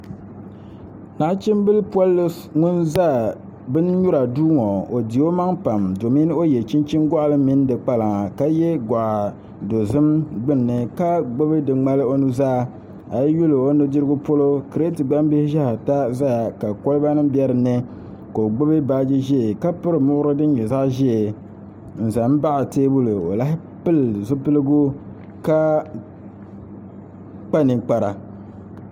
Nachimbili polli ŋun ʒɛ bin nyura duu ŋo o di o maŋ pam domi o yɛ chinchin goɣali mini di kpalaŋa ka yɛ goɣa dozim gbunni ka gbubi di ŋmali o nuzaa a yi yuli o nudirugu polo kirɛt gbambilhi ʒɛya ka kolba nim bɛ dinni ka o gbubi baaji ʒiɛ ka piri muɣuri din nyɛ zaɣ ʒiɛ n ʒɛ baɣ teebuli o lahi pili zipiligu ka kpa ninkpara